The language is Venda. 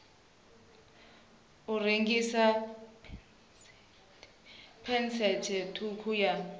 ha rengiswa phesenthe ṱhukhu ya